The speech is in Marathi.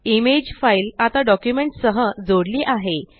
इमेज फाइल आता डॉक्युमेंट्स सह जोडली आहे